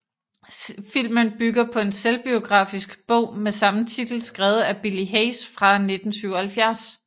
Filmen bygger på en selvbiografisk bog med samme titel skrevet af Billy Hayes fra 1977